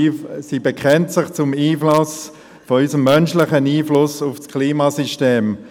Sie bekennt sich zu unserem menschlichen Einfluss auf das Klimasystem.